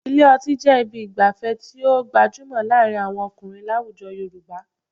Ilé ọtí jẹ́ ibi ìgbafẹ́ tí ó gbajúmọ̀ láàrin àwọn ọkùnrin láwujọ Yorùbá